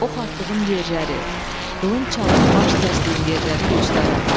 Ox atdığım yerləri, qılınc çalıb baş kəsdiyim yerləri göstərim.